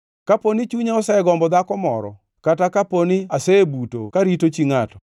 “Kapo ni chunya osegombo dhako moro, kata kapo ni asebuto karito chi ngʼato,